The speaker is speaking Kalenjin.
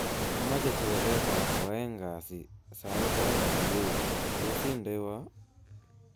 Amache twoliotab koaeng kasi sait aeng subui, tos indenwa